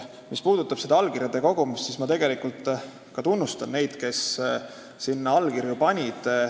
Mis puudutab allkirjade kogumist, siis ma tunnustan neid, kes sinna alla kirjutasid.